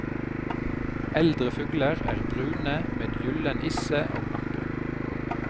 Eldre fugler er brune med gyllen isse og nakke.